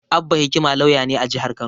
Abba Hikima lauya ne a jihar Kano.